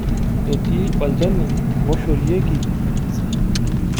Etii olchani loshorieki emisa.